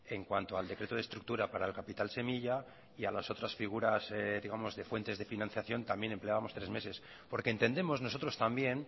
en cuanto al decreto de estructura para el capital semilla y a las otras figuras digamos de fuentes de financiación también empleábamos tres meses porque entendemos nosotros también